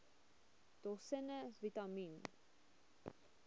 dosisse vitamien